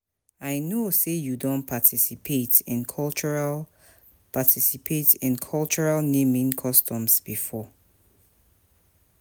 i know say you don participate in cultural participate in cultural naming customs before.